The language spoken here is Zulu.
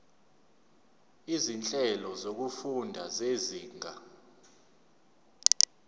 izinhlelo zokufunda zezinga